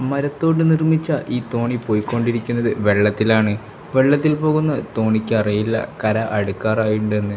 മരത്തോണ്ട് നിർമ്മിച്ച ഈ തോണി പോയി കൊണ്ടിരിക്കുന്നത് വെള്ളത്തിലാണ് വെള്ളത്തിൽ പോകുന്ന തോണിക്ക് അറിയില്ല കര അടുക്കറായിണ്ടെന്ന്.